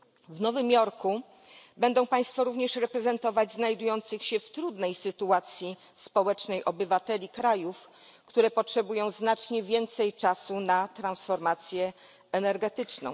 W Nowym Jorku będą państwo również reprezentować znajdujących się w trudnej sytuacji społecznej obywateli krajów, które potrzebują znacznie więcej czasu na transformację energetyczną.